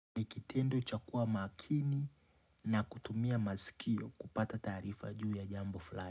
Ni kitendo cha kuwa makini na kutumia masikio kupata taarifa juu ya jambo fulani.